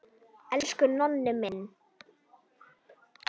Elsku Nonni minn.